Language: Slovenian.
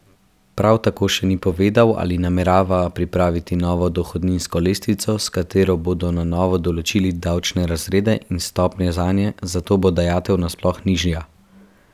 Prav tako še ni povedal, ali namerava pripraviti novo dohodninsko lestvico, s katero bodo na novo določili davčne razrede in stopnje zanje, zato bo dajatev nasploh nižja.